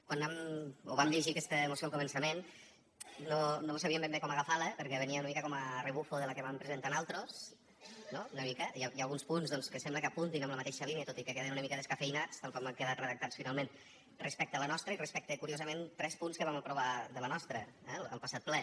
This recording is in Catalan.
quan vam llegir aquesta moció al començament no sabíem ben bé com agafar la perquè venia una mica com a rebuf de la que vam presentar nosaltres no una mica i alguns punts doncs que sembla que apuntin en la mateixa línia tot i que queden una mica descafeïnats tal com han quedat redactats finalment respecte a la nostra i respecte curiosament a tres punts que vam aprovar de la nostra al passat ple